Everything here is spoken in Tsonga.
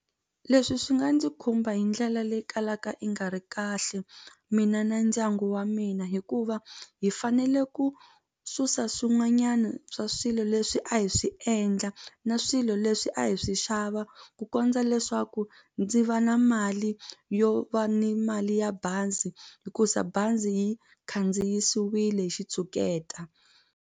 Leswi swi nga ndzi khumba hi ndlela leyi kalaka yi nga ri kahle mina na ndyangu wa mina hikuva hi fanele ku susa swin'wanyana swa swilo leswi a hi swi endla na swilo leswi a hi swi xava ku kondza leswaku ndzi va na mali yo va ni mali ya bazi hikusa bazi yi khandziwisiwile hi xitshuketa.